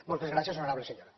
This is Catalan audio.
moltes gràcies honorable senyora